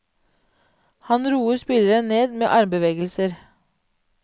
Han roer spillerne ned med armbevegelser.